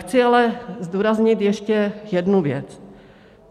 Chci ale zdůraznit ještě jednu věc.